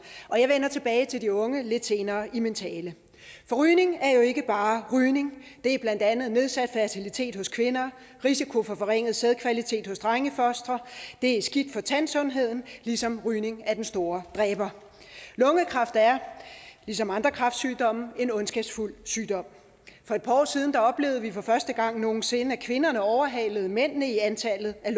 og jeg vender tilbage til de unge lidt senere i min tale for rygning er jo ikke bare rygning det er blandt andet nedsat fertilitet hos kvinder risiko for forringet sædkvalitet hos drengefostre det er skidt for tandsundheden ligesom rygning er den store dræber lungekræft er ligesom andre kræftsygdomme en ondskabsfuld sygdom for et par år siden oplevede vi for første gang nogen sinde at kvinderne overhalede mændene i antallet af